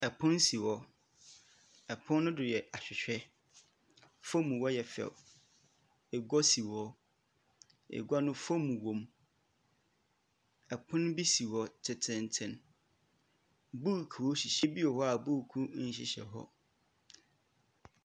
Pon si hɔ, pon no do yɛ ahwehwɛ, famu hɔ yɛ fɛ, egua si hɔ, egua no foam wɔ mu. Pon bi si hɔ tsentsenntsen. Buukuu hyehyɛ beebi wɔ hɔ a buukuu nnhyehyɛ hɔ.